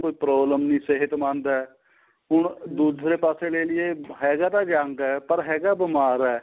ਉਹਨੂੰ ਕੋਈ problem ਨਹੀਂ ਸਿਹਤਮੰਦ ਏ ਹੁਣ ਦੂਸਰੇ ਪਾਸੇ ਲੇਈਏ ਹੈਗਾ ਤਾਂ young ਏ ਪਰ ਹੈਗਾ ਬੀਮਾਰ ਏ